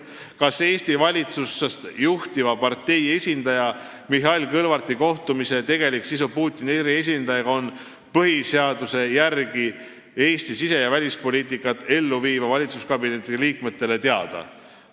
Kas Eesti valitsust juhtiva partei esindaja Mihhail Kõlvarti kohtumise tegelik sisu Putini eriesindajaga on põhiseaduse järgi Eesti sise- ja välispoliitikat elluviiva valitsuskabineti liikmetele teada?